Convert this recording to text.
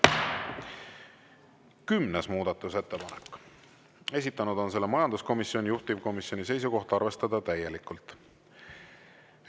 10. muudatusettepanek, esitanud majanduskomisjon, juhtivkomisjoni seisukoht on arvestada täielikult.